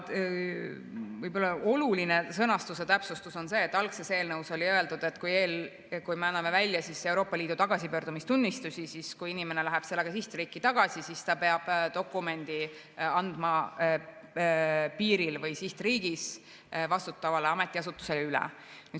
Võib-olla oluline sõnastuse täpsustus on see, et algses eelnõus oli öeldud, et kui me anname välja Euroopa Liidu tagasipöördumistunnistuse ja kui inimene läheb sellega sihtriiki tagasi, siis ta peab dokumendi andma piiril või sihtriigis vastutavale ametiasutusele üle.